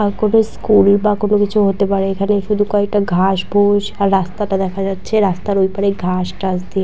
আর কোনো স্কুল বা কোনো কিছু হতে পারে এইখানে শুধু কয়েকটা ঘাস বুশ আর রাস্তাটা দেখা যাচ্ছে আর রাস্তার ঐপারে ঘাস টাস দিয়ে--